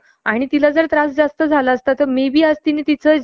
आस पण होण्याचे चॅन्सस होतात ना , म्हणजे लोक त्यांच्या